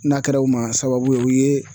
N'a kɛra o ma sababu ye o ye